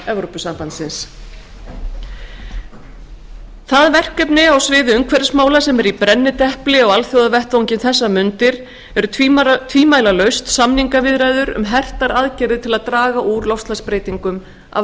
b það verkefni á sviði umhverfismála sem er í brennidepli á alþjóðavettvangi um þessar mundir er tvímælalaust samningaviðræður um hertar aðgerðir til að draga úr loftslagsbreytingum af